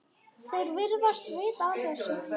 Þeir virðast vita af þessu.